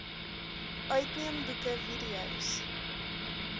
uitneem boeke videos